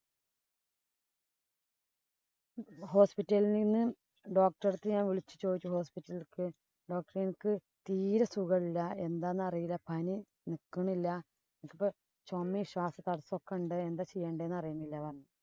hospital ഇല്‍ നിന്ന് doctor ഉടെ അടുത്ത് ഞാന്‍ വിളിച്ചു ചോദിച്ചു hospital ഇലേക്ക്. doctor എനിക്ക് തീരെ സുഖമില്ല. പനി നിക്കണില്ല. എനിക്കിപ്പം ചൊമയും, ശ്വാസതടസ്സവും ഒക്കെ ഉണ്ട്. എന്താ ചെയ്യേണ്ടേ എന്നറിയിന്നില്ല എന്ന് പറഞ്ഞു.